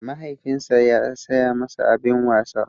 Mahaifinsa ya saya masa abin wasa.